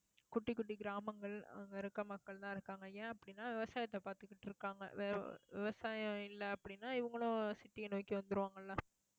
குட்டி, குட்டி கிராமங்கள், அங்க இருக்க மக்கள்தான் இருக்காங்க. ஏன் அப்படின்னா விவசாயத்தை பார்த்துக்கிட்டு இருக்காங்க. ஆஹ் விவ~ விவசாயம் இல்லை அப்படின்னா இவங்களும் city அ நோக்கி வந்துருவாங்கல்ல